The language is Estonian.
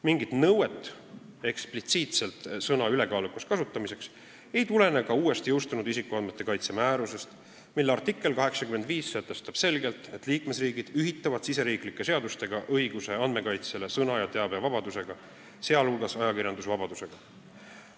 Mingit eksplitsiitset nõuet sõna "ülekaalukas" kasutamiseks ei tulene ka uuest, jõustunud isikuandmete kaitse määrusest, mille artikkel 85 sätestab selgelt, et liikmesriigid ühitavad riigisiseste seadustega õiguse andmekaitsele sõna- ja teabevabadusega, sh ajakirjandusvabadusega.